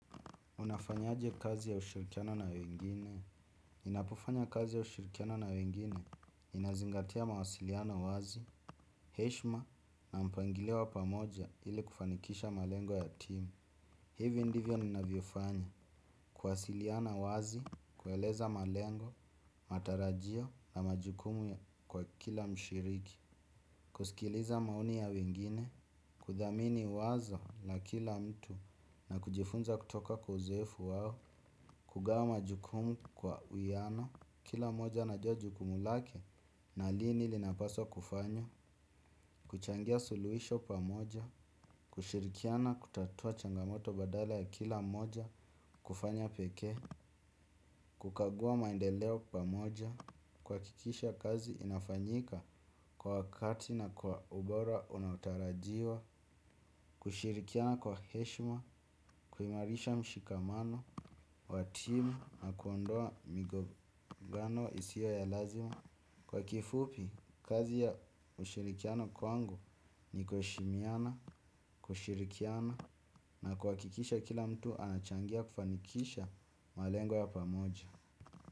Unafanya aje kazi ya ushirikiano na wengine? Ninapo fanya kazi ya ushirikiano na wengine, ninazingatia mawasiliana wazi, heshima na mpangilo wa pamoja ili kufanikisha malengo ya timu. Hivyo ndivyo ni ninavyo fanya, kuwasiliana wazi, kueleza malengo, matarajio na majukumu kwa kila mshiriki. Kusikiliza maoni ya wengine, kudhamini wazo la kila mtu na kujifunza kutoka kwa uzoefu wao, kugawa majukumu kwa uwiano, kila mmoja anajua jukumu lake na lini linapaswa kufanya. Kuchangia suluhisho pamoja, kushirikiana kutatua changamoto badala ya kila mmoja kufanya pekee. Kukagua maendeleo pamoja, kuhakikisha kazi inafanyika kwa wakati na kwa ubora unaotarajiwa. Kushirikiana kwa heshima, kuimarisha mshikamano wa timu na kuondoa migongano isiyo ya lazima. Kwa kifupi, kazi ya ushirikiano kwangu ni kuheshimiana, kushirikiana na kuhakikisha kila mtu anachangia kufanikisha malengo ya pamoja.